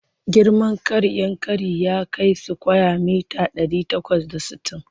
Girman ƙaaar Yankari ya kai sukwaya mita ɗari takwas da sittin.